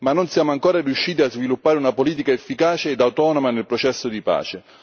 Ma non siamo ancora riusciti a sviluppare una politica efficace ed autonoma nel processo di pace.